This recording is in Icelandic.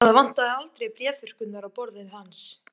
Það vantaði aldrei bréfþurrkurnar á borði hans.